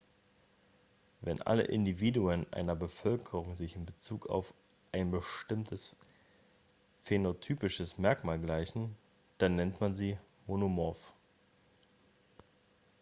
wenn alle individuen einer bevölkerung sich in bezug auf ein bestimmtes phänotypisches merkmal gleichen dann nennt man sie monomorph